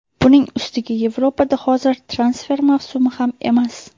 Buning ustiga Yevropada hozir transfer mavsumi ham emas.